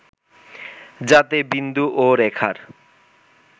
যাতে বিন্দু ও রেখার